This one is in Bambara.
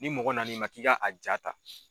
Ni mɔgɔ na n'i ma k'i ka a jaa ta.